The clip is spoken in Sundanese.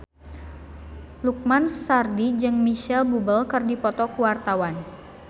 Lukman Sardi jeung Micheal Bubble keur dipoto ku wartawan